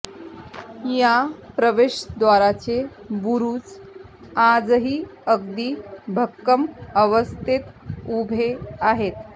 या प्रवेशद्वाराचे बुरुज आजही अगदी भक्कम अवस्थेत उभे आहेत